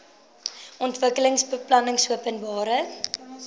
ontwikkelingsbeplanningopenbare